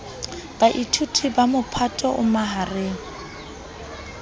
baithuti ba mophato o mahareng